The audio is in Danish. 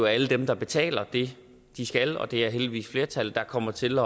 alle dem der betaler det de skal og det er heldigvis flertallet der kommer til